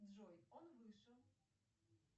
джой он вышел